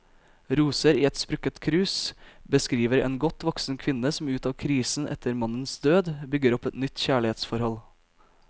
Roser i et sprukket krus beskriver en godt voksen kvinne som ut av krisen etter mannens død, bygger opp et nytt kjærlighetsforhold.